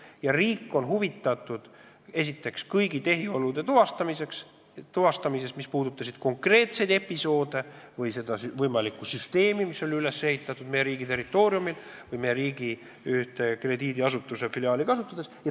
Meie riik on praegu huvitatud esiteks kõigi nende tehiolude tuvastamisest, mis puudutavad konkreetseid episoode või seda võimalikku süsteemi, mis oli üles ehitatud meie riigi territooriumil või meie riigis tegutseva krediidiasutuse filiaali kasutades.